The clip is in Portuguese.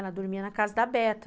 Ela dormia na casa da Beta.